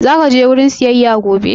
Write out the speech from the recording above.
Zaka je wajen siyayya gobe?